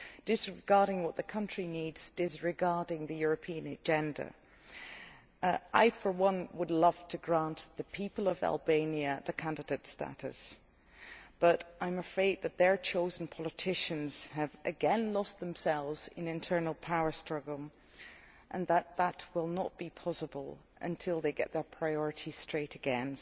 Disregarding what the country needs, disregarding the European agenda. I for one would love to grant the people of Albania candidate status, but I am afraid that their chosen politicians have again lost themselves in an internal power struggle, and that that will not be possible until they get their priorities straight again.